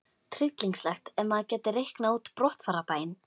Tryllingslegt ef maður gæti reiknað út brottfarardaginn!